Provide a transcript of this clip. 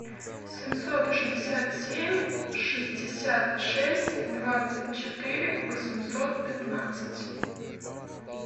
семьсот шестьдесят семь шестьдесят шесть двадцать четыре восемьсот пятнадцать